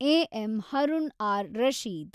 A. M. Harun ar Rashid